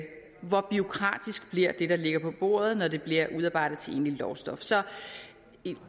hvor bureaukratisk bliver det der ligger på bordet når det bliver udarbejdet til egentligt lovstof så i